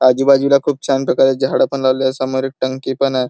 आजूबाजूला खूप छान प्रकारे झाड पण लावलेय समोर एक टंकी पण य.